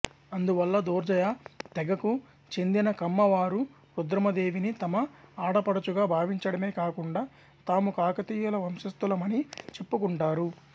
అందువల్ల దూర్జయ తెగకు చెందిన కమ్మ వారు రుద్రమదేవిని తమ ఆడపడుచుగా భావించడమే కాకుండా తాము కాకతీయుల వంశస్తులమని చెప్పుకుంటారు